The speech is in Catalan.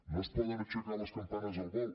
no es poden aixecar les campanes al vol